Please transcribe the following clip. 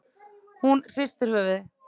Hún hristir höfuðið.